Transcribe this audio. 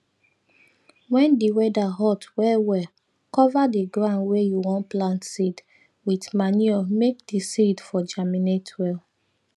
wen di weather hot well well cover the ground wey you wan plant seed wit manure make di seed for germinate well